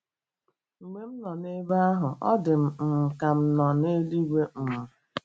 Mgbe m nọ ebe ahụ, ọ dị m um ka m nọ n’eluigwe. ” um